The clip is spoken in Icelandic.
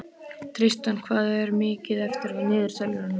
Tristana, hvað er mikið eftir af niðurteljaranum?